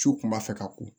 Su kun b'a fɛ ka ko